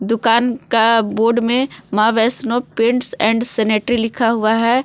दुकान का बोर्ड में Maa Vaishno paints and sanitary लिखा हुआ है।